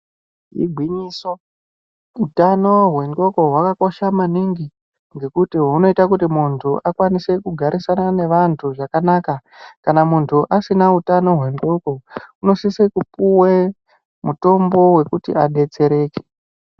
Igwinyiso ,utano hwenxondo hwakakosha maningi ngekuti hunoita kuti muntu akwanise kugarisana nevantu zvakanaka kana muntu asina utano hwenxondo unosisokupuwe mutombo wekuti adetsereke.